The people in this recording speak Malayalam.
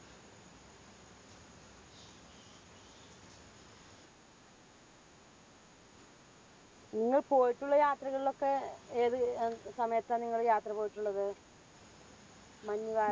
നിങ്ങൾ പോയിട്ടുള്ള യാത്രകളിലൊക്കെ ഏത് ഏർ സമയത്താണ് നിങ്ങള് യാത്ര പോയിട്ടുള്ളത്? മഞ്ഞുകാല